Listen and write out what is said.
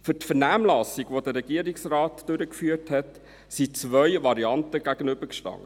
Für die Vernehmlassung, die der Regierungsrat durchgeführt hat, standen zwei Varianten einander gegenüber.